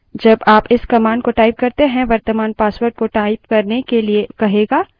जब आप इस command को type करते हैं वर्त्तमान password को type करने के लिए कहेगा